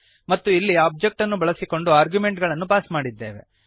ಮತ್ತು ಇಲ್ಲಿ ಒಬ್ಜೆಕ್ಟ್ ಅನ್ನು ಬಳಸಿಕೊಂಡು ಆರ್ಗ್ಯುಮೆಂಟುಗಳನ್ನು ಪಾಸ್ ಮಾಡಿದ್ದೇವೆ